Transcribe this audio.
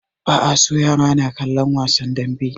Ba a so yara na kallan wasan danbe